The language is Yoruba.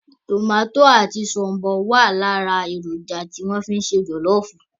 Tòmátò àti shombọ wá lára èròjà tí a fi ń se jọlọfu